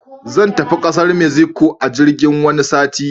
Zan tafi kasar mexico a jirgin wani sati.